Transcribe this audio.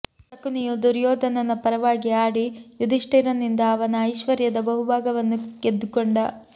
ಶಕುನಿಯು ದುರ್ಯೋಧನನ ಪರವಾಗಿ ಆಡಿ ಯುಧಿಷ್ಠಿರನಿಂದ ಅವನ ಐಶ್ವರ್ಯದ ಬಹು ಭಾಗವನ್ನು ಗೆದ್ದುಕೊಂಡ